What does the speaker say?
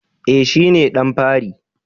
I, shi ne ɗan fari